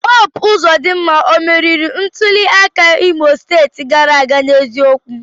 Hope Uzodimma o merìrì ntuli aka Imo steeti gàrà aga n'eziokwu?